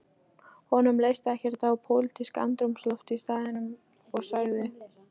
Honum leist ekkert á pólitískt andrúmsloft á staðnum og sagði